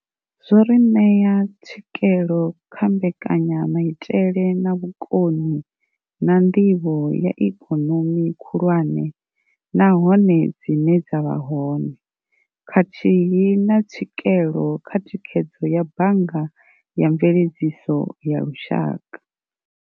Zwo ri ṋea tswikelo kha mbekanyamaitele na vhukoni na nḓivho ya ikonomi khulwane nahone dzine dza vha hone, khathihi na tswikelo kha thikhedzo ya bannga ya mveledziso ya lushaka.